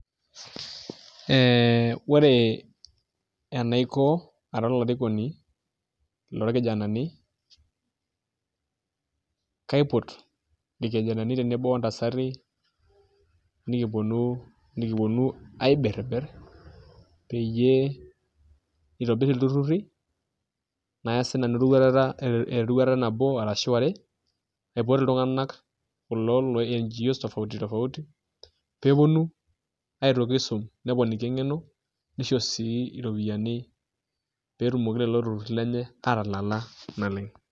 Ore enaiko ara olarikoni lorkijanani kaipot irkijanani tenebo ontasati nikiponu aibirribirr peyie kintobirr ilturruri naya sinanu eroruata nabo arashu are aipot iltung'anak kulo loo NGOs tofauti tofauti pee eponu aitoki aisum neponiki eng'eno nisho sii iropiyiani pee etumoki lelo turruri lenye aatalala naleng'.